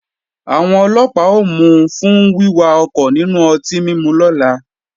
Àwọn Ọlọ́pàá ó mú u fún wíwà ọkọ̀ nínú ọtí mímu lọ́la